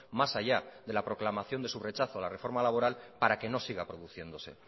más allá de la proclamación de su rechazo a la reforma laboral para que no siga produciéndose